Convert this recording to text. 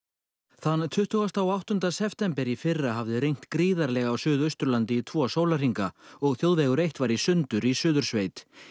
þann tuttugasta og áttunda september í fyrra hafði rignt gríðarlega á Suðausturlandi í tvo sólarhringa og þjóðvegur eitt var í sundur í Suðursveit